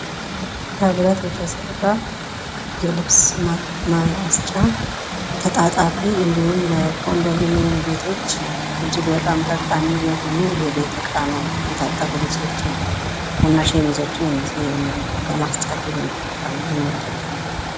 ከብረት የተሰራ የልብስ ማስጫ ተጣጣፊ እንዲሁም ለኮንዶሚኒየም ቤቶች እጅግ በጣም ጠቃሚ የሆነ የቤት እቃ ነው። የታጠቡ ልብሶችን ለማስጣት የምንጠቀመው ነው።